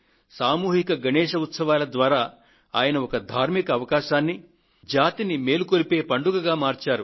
సామూహిక గణేశ్ ఉత్సవాల ద్వారా ఆయన ఒక ధార్మిక అవకాశాన్ని జాతిని మేలుకొలిపే పండుగగా మార్చారు